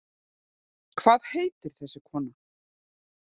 Hvað heitir þessi kona?